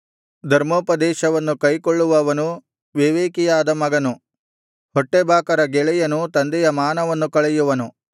ಧರ್ಮೋಪದೇಶವನ್ನು ಕೈಕೊಳ್ಳುವವನು ವಿವೇಕಿಯಾದ ಮಗನು ಹೊಟ್ಟೆಬಾಕರ ಗೆಳೆಯನು ತಂದೆಯ ಮಾನವನ್ನು ಕಳೆಯುವನು